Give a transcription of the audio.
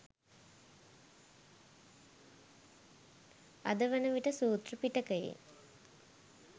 අද වන විට සූත්‍ර පිටකයේ